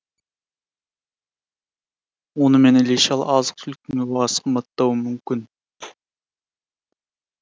онымен іле шала азық түліктің де бағасы қымбаттауы мүмкін